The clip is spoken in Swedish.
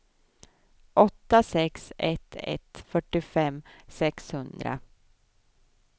åtta sex ett ett fyrtiofem sexhundra